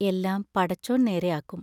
എല്ലാം പടച്ചോൻ നേരെ ആക്കും.